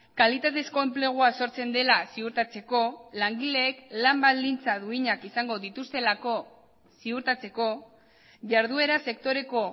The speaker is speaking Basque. kalitatezko enplegua sortzen dela ziurtatzeko langileek lan baldintza duinak izango dituztelako ziurtatzeko jarduera sektoreko